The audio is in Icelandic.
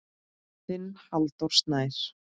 Þinn Halldór Snær.